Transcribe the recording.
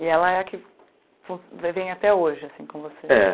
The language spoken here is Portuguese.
E ela é a que fun vem vem até hoje, assim, com você? É